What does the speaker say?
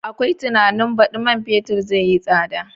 Akwai tunanin baɗi man fetur zai yi tsada.